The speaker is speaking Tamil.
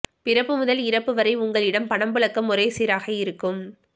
பிறப்பு முதல் இறப்பு வரை உங்களிடம் பணப்புழக்கம் ஒரே சீராக இருக்கும்